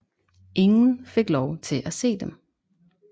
Ingen fik lov til at se dem